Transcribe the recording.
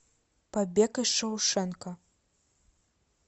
побег из шоушенка